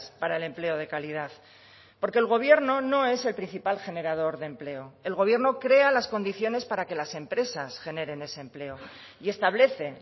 para el empleo de calidad porque el gobierno no es el principal generador de empleo el gobierno crea las condiciones para que las empresas generen ese empleo y establece